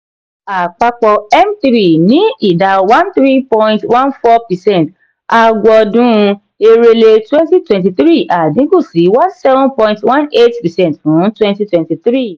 àpapọ m three ní ì dá one three point one four percent àgọọdun èrèlé twenty twenty three àdínkù sí one seven point one eight percent fún twenty twenty three.